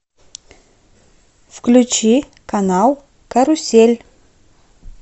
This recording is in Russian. включи канал карусель